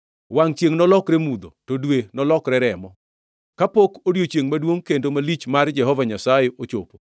Wangʼ chiengʼ nolokre mudho to dwe nolokre remo, kapok odiechiengʼ maduongʼ kendo malich mar Jehova Nyasaye ochopo.